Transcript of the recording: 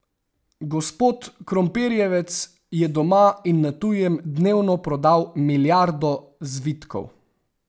Gospod Krompirjevec je doma in na tujem dnevno prodal milijardo zvitkov.